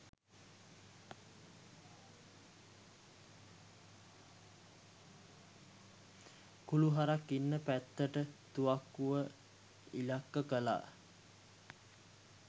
කුළු හරක් ඉන්න පැත්තට තුවක්කුව ඉලක්ක කළා